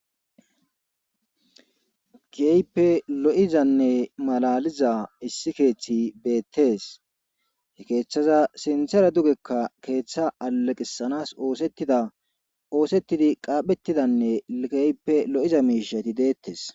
geype lo7izanne malaliza issi keeththi beettees he keeththaza sinthere dugekka keeththa alaqisanas oosettida oosettidi qaaphettidanne geype lo7iza miishati deettes